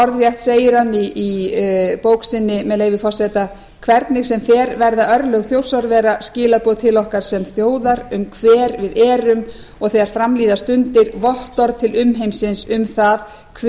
orðrétt segir hann í bók sinni með leyfi forseta hvernig sem fer verða örlög þjórsárvera skilaboð til okkar sem þjóðar um hver við verum og þegar fram líða stundir vottorð til umheimsins um það hver